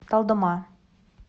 талдома